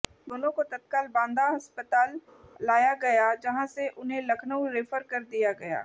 दोनों को तत्काल बांदा अस्पताल लाया गया जहां से उन्हें लखनऊ रेफर कर दिया गया